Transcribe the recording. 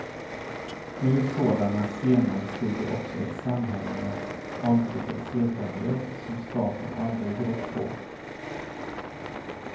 Ur sådana scener stiger också ett samhälle med åldriga sedvänjor som staten aldrig rått på.